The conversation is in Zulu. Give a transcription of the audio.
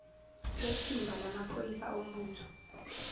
lethimba lamaphoyisa ombutho